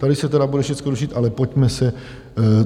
Tady se tedy bude všechno rušit, ale pojďme se...